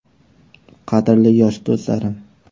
Qadrli yosh do‘stlarim!